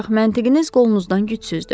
Ancaq məntiqiniz qolunuzdan gücsüzdür.